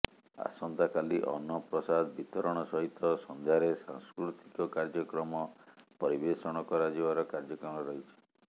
ଆସନ୍ତା କାଲି ଅନ୍ନପ୍ରସାଦ ବିତରଣ ସହିତ ସନ୍ଧ୍ୟାରେ ସାସ୍କୃତିକ କାର୍ଯ୍ୟକ୍ରମ ପରିବେଶଣ କରାଯିବର କାର୍ଯ୍ୟକ୍ରମ ରହିଛି